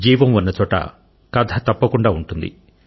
జీవం ఉన్నచోట కథ తప్పకుండా ఉంటుంది